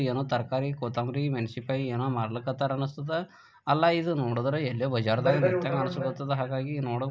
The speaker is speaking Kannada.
ಏನೊ ತರಕಾರಿ ಕೊತ್ತಂಬರಿ ಮೆಣಸಿನಕಾಯಿ ಏನೋ ಮಾರ್ಲಿಕ್ಕತ್ತಾರಾ ಅನ್ನಿಸ್ತದ ಅಲ್ಲಾ ಇದು ನೋಡಿದ್ರಾ ಇದು ಎಲ್ಲೊ ಬಜಾರ್ದಾಗ ನಿಂತಾನ ಅನ್ನಿಸ್ತದ ಹಾಗಾಗಿ ನೋ--